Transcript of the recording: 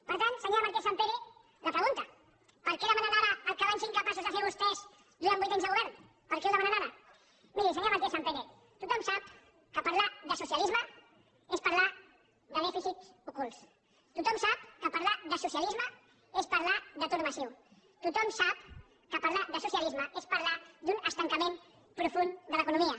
per tant senyora martínez sampere la pregunta per què demanen ara el que van ser incapaços de fer vostès durant vuit anys de govern per què ho demanen ara miri senyora martínez sampere tothom sap que parlar de socialisme és parlar de dèficits ocults tothom sap que parlar de socialisme és parlar d’atur massiu tothom sap que parlar de socialisme és parlar d’un estancament profund de l’economia